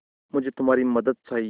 मुझे तुम्हारी मदद चाहिये